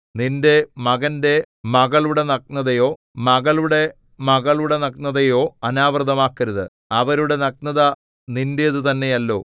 നിന്റെ മകന്റെ മകളുടെ നഗ്നതയോ മകളുടെ മകളുടെ നഗ്നതയോ അനാവൃതമാക്കരുത് അവരുടെ നഗ്നത നിന്റേത് തന്നെയല്ലോ